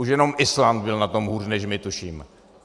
Už jenom Island byl na tom hůř než my, tuším.